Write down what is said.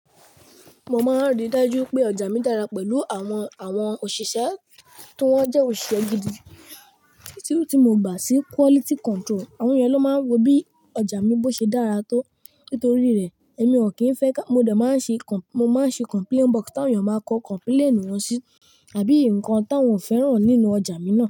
Mo máa ń rí dájú pé ọjà mi dára pẹ̀lú àwọn, àwọn òṣìṣẹ́ tó jẹ́ òṣìṣẹ́ gidi tí mo gbà sí quality control. Àwọn èyàn ló máa ń wo bí ọjà mi bó ṣe dára tó. Nítorí rẹ̀, èmi ò kí ń fẹ́ ká, mo dà máa ń ṣe, mo máa ń ṣe complaint box tí àwọn ènìyàn máa ń kọ complaint wọn sí àbí nǹkan tí wọ́n ò fẹ́ràn nínú ọjà mi náà.